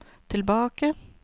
tilbake